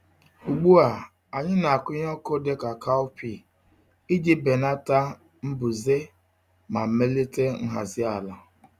Ugbu a, anyị na-akụ ihe ọkụkụ dị ka cowpea iji belata mbuze ma melite nhazi ala.